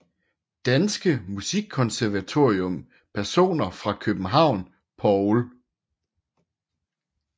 Danske Musikkonservatorium Personer fra København Paul